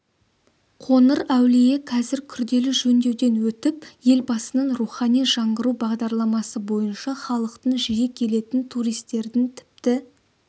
қоңыр әулие қазір күрделі жөндеуден өтіп елбасының рухани жаңғыру бағдарламасы бойынша халықтың жиі келетін туристердің тіпті